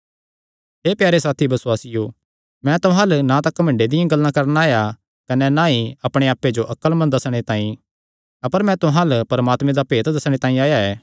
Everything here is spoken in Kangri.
हे प्यारे साथी बसुआसियो मैं तुहां अल्ल ना तां घमंडे दियां गल्लां करणा आया कने ना ई अपणे आप्पे जो अक्लमंद दस्सणे तांई अपर मैं तुहां अल्ल परमात्मे दा भेत दस्सणे तांई आया ऐ